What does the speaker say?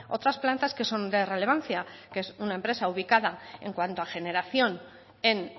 otras plantas que son de relevancia que es una empresa ubicada en cuanto a generación en